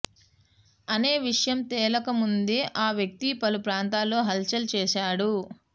అనే విషయం తేలకముందే ఆ వ్యక్తి పలు ప్రాంతాల్లో హల్ చల్ చేశాడు